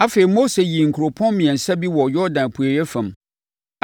Afei, Mose yii nkuropɔn mmiɛnsa bi wɔ Yordan apueeɛ fam